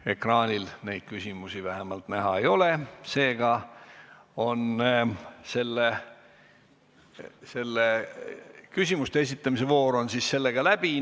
Vähemalt ekraanil neid küsimusi näha ei ole, seega on küsimuste esitamise voor läbi.